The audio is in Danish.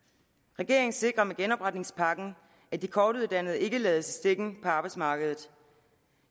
regeringen sikrer med genopretningspakken at de kortuddannede ikke lades i stikken på arbejdsmarkedet